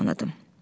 Tanıdım.